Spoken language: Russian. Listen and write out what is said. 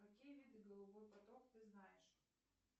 какие виды голубой поток ты знаешь